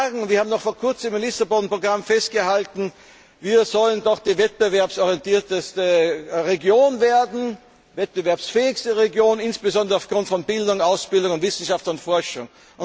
Wir sagen, wir haben noch vor kurzem am Lissabon Programm festgehalten Wir sollen doch die wettbewerbsorientierteste Region werden, die wettbewerbsfähigste Region, die insbesondere aufgrund von Bildung, Ausbildung und Wissenschaft und Forschung.